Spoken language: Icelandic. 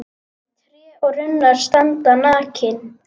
Tré og runnar standa nakin.